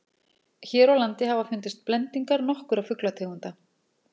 hér á landi hafa fundist blendingar nokkurra fuglategunda